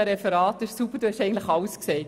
Annegret Hebeisen hat eigentlich alles gesagt.